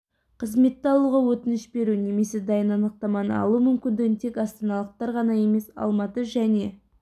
қызметті алуға өтініш беру немесе дайын анықтаманы алу мүмкіндігін тек астаналықтар ғана емес алматы және